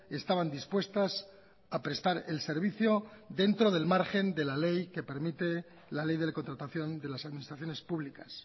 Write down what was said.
estaban dispuestas a prestar el servicio dentro del margen de la ley que permite la ley de contratación de las administraciones públicas